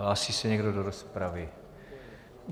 Hlásí se někdo do rozpravy?